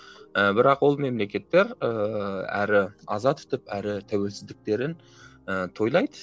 і бірақ ол мемлекеттер ііі әрі аза тұтып әрі тәуелсіздіктерін ііі тойлайды